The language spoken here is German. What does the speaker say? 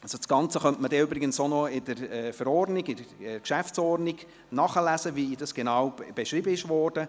Das Ganze ist übrigens in der Geschäftsordnung des Grossen Rates (GO) genau beschrieben und kann dort nachgelesen werden.